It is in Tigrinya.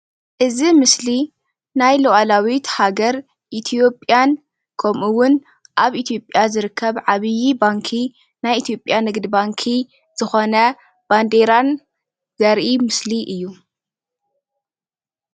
እዚ ምስሊ ናይ ላዕላዊት ሃገር ኢትዮጵያን ከምኡ እውን ኣብ ኢትዮጵያ ዝርከብ ዓብይ ባንኪ ናይ ኢትዮጵያ ንግዲ ባንኪ ዝኮነ ባንዴራን ዘርኢ ምስሊ እዩ፡፡